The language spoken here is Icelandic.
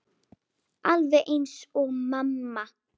Alveg eins og mamma.